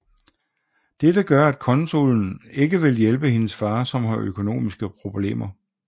Dette gører at konsulen ikke vil hjælpe hendes far som har økonomiske problemer